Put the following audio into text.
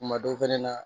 Kuma dɔ fɛnɛ na